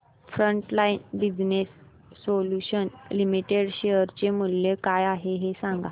frontline business solutions limited share चे मूल्य काय आहे हे सांगा